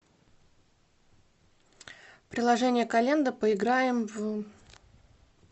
приложение календо поиграем в